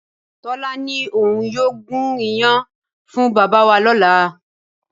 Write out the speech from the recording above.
Tọ́lá ní òun yóò gún iyán fún bàbá wa lọ́la